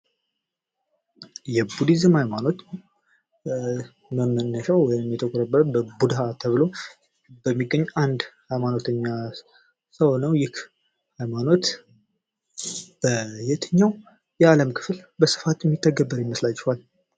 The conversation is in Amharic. የቡዲዝም ሀይማኖት መነሻው ወይም የተቆረቆረበት በ ቡድሀ ተብሎ በሚገኝ አንድ ሀይማኖተኛ ሰው ነው ። ይህ ሀይማኖት በየትኛው የአለም ክፍል በስፋት ሚተገበር ይመስላችኋል?